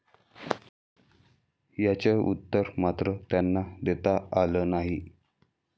याचं उत्तर मात्र त्यांना देता आलं नाही.